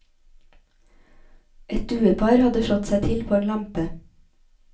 Et duepar hadde slått seg til på en lampe.